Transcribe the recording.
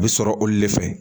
A bɛ sɔrɔ olu de fɛ